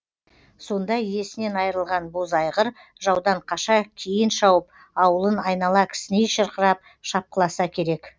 сонда иесінен айырылған боз айғыр жаудан қаша кейін шауып ауылын айнала кісіней шырқырап шапқыласа керек